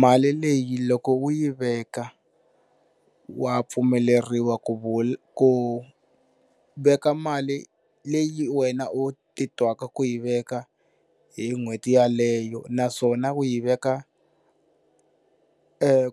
Mali leyi loko u yi veka wa pfumeleriwa ku veka mali leyi wena u titwaka ku yi veka hi n'hweti yaleyo, naswona u yi veka